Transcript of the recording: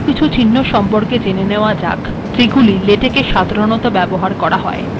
এখন আরো কিছু চিহ্ন সম্পর্কে জেনে নেওয়া যাক এগুলি লেটেকে সাধারণতঃ ব্যবহার করা হয়